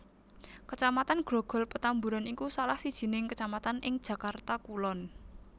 Kecamatan Grogol Petamburan iku salah sijining kecamatan ing Jakarta Kulon